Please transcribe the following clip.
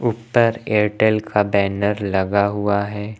उपर एटेल का बैनर लगा हुआ है।